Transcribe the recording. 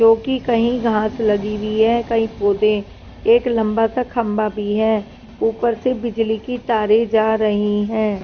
जो कि कई घास लगी हुई है कहीं पौधे एक लंबा सा खंबा भी है ऊपर से बिजली की तारे जा रही हैं।